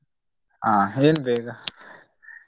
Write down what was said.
ಹ ಏನ್ ಬೇಗ?